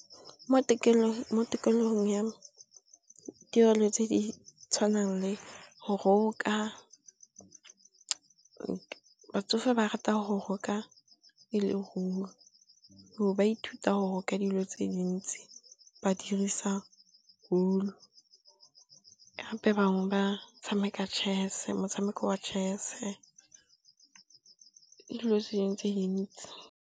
Mo tikologong ya tirelo tse di tshwanang le go roka. Batsofe ba rata go roka e leruo, gore ba ithuta go roka dilo tse dintsi ba dirisa wool, gape bangwe ba tshameka motshameko wa chess-e le dilo tse dingwe tse dintsi.